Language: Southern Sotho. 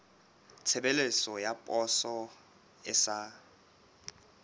tshebeletso ya poso e sa